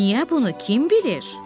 Niyə bunu kim bilir?